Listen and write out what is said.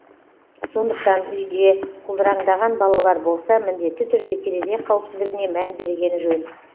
сондықтан үйде құлдыраңдаған балалар болса міндетті түрде терезе қауіпсіздігіне мән берген жөн